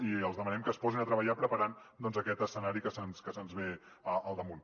i els demanem que es posin a treballar preparant aquest escenari que se’ns ve al damunt